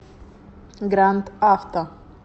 гранд авто